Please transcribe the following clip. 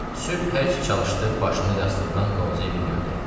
Sübh hərki çalışdı, başını yastıqdan qovzaya bilmədi.